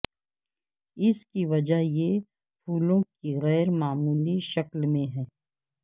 اس کی وجہ یہ پھولوں کی غیر معمولی شکل میں ہے